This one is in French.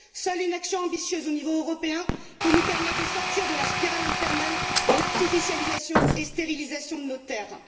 Seule une action ambitieuse au niveau européen peut nous permettre de sortir de la spirale infernale de l'artificialisation et de la stérilisation de nos terres.